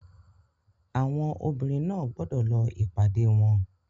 Àwọn obìnrin náà gbọ́dọ̀ lọ ìpàdé wọn.